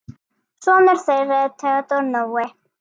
Sonur þeirra er Theodór Nói.